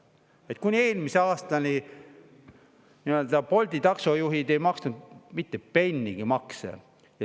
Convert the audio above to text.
Seda, et kuni eelmise aastani Bolti taksojuhid ei maksnud mitte pennigi makse.